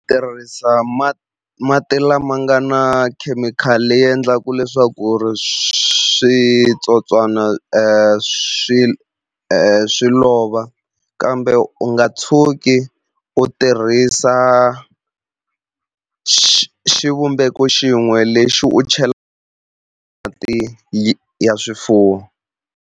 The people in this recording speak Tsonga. Tirhisa mati lama nga na khemikhali leyi endlaku leswaku ri switsotswana swi swi lova kambe u nga tshuki u tirhisa xivumbeko xin'we lexi u ya swifuwo.